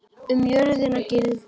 Um jörðina gildir